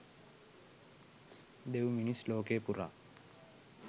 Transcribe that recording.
දෙවි මිනිස් ලෝකය පුරා